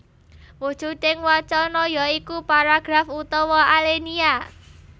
Wujuding wacana ya iku paragraf utawa alenia